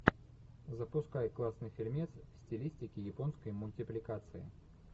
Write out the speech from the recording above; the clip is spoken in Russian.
запускай классный фильмец в стилистике японской мультипликации